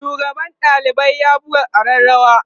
shugaban ɗalibai ya buga arrarawa